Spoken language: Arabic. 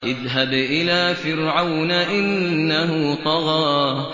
اذْهَبْ إِلَىٰ فِرْعَوْنَ إِنَّهُ طَغَىٰ